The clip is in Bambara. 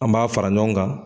An b'a fara ɲɔgɔn kan